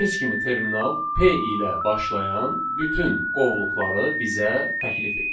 Gördüyünüz kimi terminal P ilə başlayan bütün qovluqları bizə təklif eləyir.